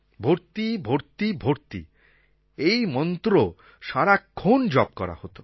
ভর্তি ভর্তি ভর্তি এই মন্ত্র সারাক্ষণ জপ করা হত